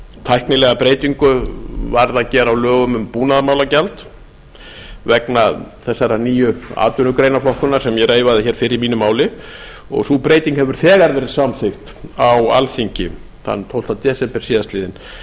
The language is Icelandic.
tæknilega breytingu varð að gera á lögum um búnaðarmálagjald vegna þessarar nýju atvinnugreinaflokkunar sem ég reifaði hér fyrr í mínu máli og sú breyting hefur þegar verið samþykkt á alþingi þann tólfta desember síðastliðnum